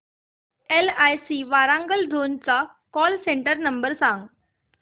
LIC Warangal zone चा call centre number सांग